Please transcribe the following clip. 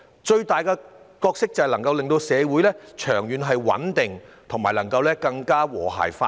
最重要的是，能令社會長遠穩定、和諧發展。